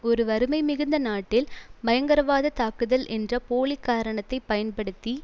ஒரு வறுமை மிகுந்த நாட்டில் பயங்கரவாத தாக்குதல் என்ற போலி காரணத்தை பயன்படுத்தி